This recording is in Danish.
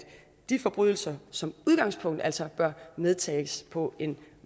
de forbrydelser som udgangspunkt altså bør medtages på en